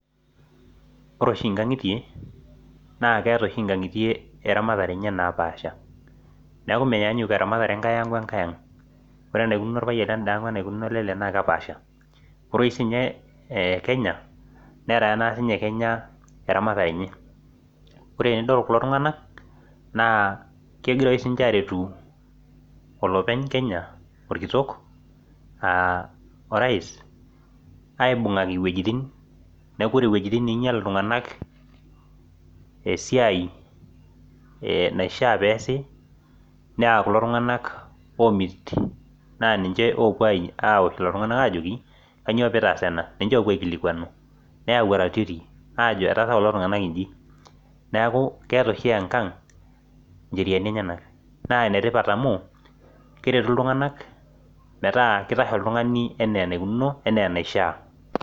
Ore oshi nkang'itie naa ketaa oshi nkang'itie eramatare enye napashaa neeku menyanyuk eramatare enkae ang wenkae ang ore enaikunono orpayian leda ang wee enaikunono olelde naa kepashaa ore sininye Kenya netaa ake sinye Kenya eramatare enye ore tenidol kulo tung'ana naa kegira oshi sininje aretu olopeny Kenya orkitok aa praise aibung'aki wuejitin neeku ore wuejitin ninyial iltung'ana esiai naishaa pesii naa kulo tung'ana omit naa ninje apuo auto lelo tung'ana ajoki kainyio pitasaa enaa ninje oikilikuanu neyau aratioti Ajo etaasa kulo tung'ana eji neeku keeta oshi engang njeriani enyana naa enetipat amu keretu iltung'ana meeta kitashe oltung'ani enaa enaikunono enaa enaishaa